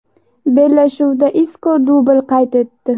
Bellashuvda Isko dubl qayd etdi.